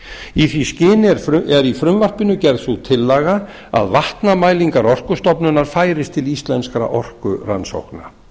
í því skyni er í frumvarpinu gerð sú tillaga að vatnamælingar orkustofnunar færist til íslenskra orkurannsókna